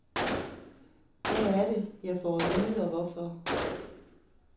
Hvad er det, jeg får at vide og hvorfor?